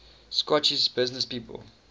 scottish businesspeople